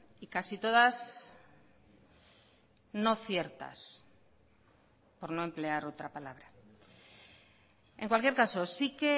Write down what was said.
y casi todas no ciertas por no emplear otra palabra en cualquier caso sí que